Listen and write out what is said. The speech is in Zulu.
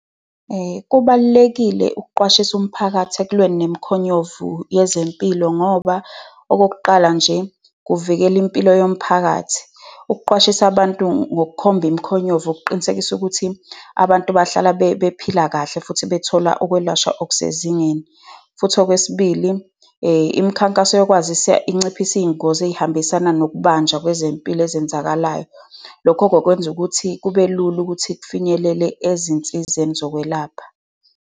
Kubalulekile ukuqwashisa umphakathi ekulweni nemikhonyovu yezempilo ngoba okokuqala nje, kuvikela impilo yomphakathi. Ukuqwashisa abantu ngokukhomba imikhonyovu kuqinisekisa ukuthi abantu bahlala bephila kahle, futhi bethola ukwelashwa okusezingeni. Futhi okwesibili, imikhankaso yokwazisa inciphise iy'ngozi ey'hambisana nokubanjwa kwezempilo ezenzakalayo. Lokho-ke kwenza ukuthi kube lula ukuthi kufinyelele ezinsizeni zokwelapha.